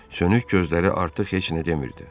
Sönük gözləri artıq heç nə demirdi.